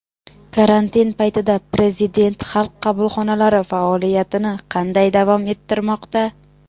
Karantin paytida Prezident Xalq qabulxonalari faoliyatini qanday davom ettirmoqda?.